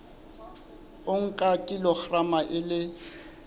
o nka kilograma e le